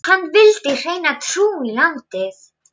Hann vildi hreina trú í landið.